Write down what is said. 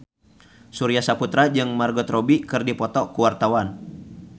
Surya Saputra jeung Margot Robbie keur dipoto ku wartawan